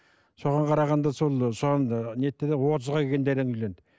соған қарағанда сол ы соған ы нетті де отызға келгенде әрең үйленді